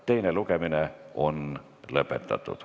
Teine lugemine on lõppenud.